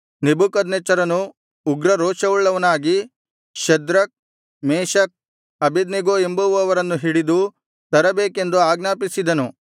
ನೆಬೂಕದ್ನೆಚ್ಚರನು ಉಗ್ರರೋಷವುಳ್ಳವನಾಗಿ Shadrach Meshach Abednego ಎಂಬುವವರನ್ನು ಹಿಡಿದು ತರಬೇಕೆಂದು ಆಜ್ಞಾಪಿಸಿದನು